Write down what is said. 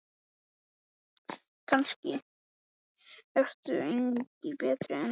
Kannske ertu engu betri en hann.